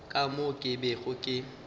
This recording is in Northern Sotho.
ka moo ke bego ke